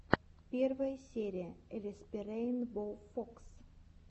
первая серия элэспирэйнбоуфокс